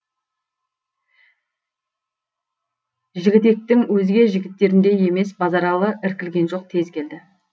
жігітектің өзге жігіттеріндей емес базаралы іркілген жоқ тез келді